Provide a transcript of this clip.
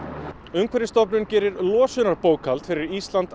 umhverfisstofnun gerir losunarbókhald fyrir Ísland